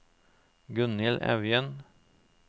Gunnhild Evjen